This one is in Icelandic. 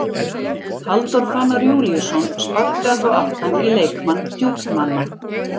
Halldór Fannar Júlíusson sparkaði þá aftan í leikmann Djúpmanna.